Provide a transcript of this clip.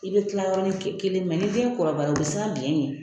I bɛ tila yɔrɔnin kelen ni den kɔrɔbayara o bɛ siran biɲɛ ɲɛ